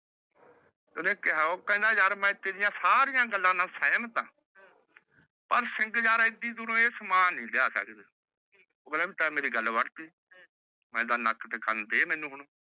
ਓਹ ਖੇੰਦਾ ਯਾਰ ਮੈ ਤੇਰੀ ਸਰਿਯਾ ਗਲਾ ਨਾਲ ਸੇਹ੍ਮਤ ਆਹ ਪਰ ਸਿੰਘ ਯਾਰ ਈਦੀ ਦੁਰ ਆਹ ਸਮਾਂ ਨੀ ਲਾ ਸਕਦੇ ਓਹਨਾ ਨੇ ਮੇਰੀ ਗੱਲ ਵੱਡ ਦੀ ਕਹੰਦਾ ਨਾਕ ਤੇਹ ਕਾਨ ਦੇ ਮੈਨੂ ਹੁਣ